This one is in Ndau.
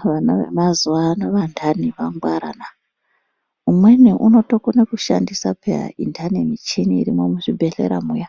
Vana vemazuva ano vandani vangwarana umweni unotokone kushandisa peya indani ini irimwo muzvibhedhlera muya.